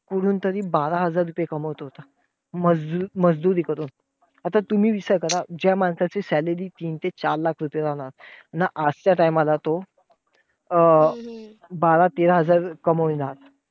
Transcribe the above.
कुठून तरी बारा हजार रुपये कमवत होता. मज~ मजुरी करून. आता तुम्ही विचार करा, ज्या माणसाची salary तीन ते चार लाख राहणार. ना आजच्या time ला तो अं बारा तेरा हजार कामविणार.